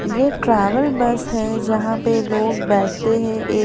ये travel bus है जहां पे लोग बैठते हैं एक--